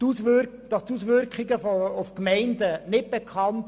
Man kann nicht sagen, die Auswirkungen auf die Gemeinden seien unbekannt.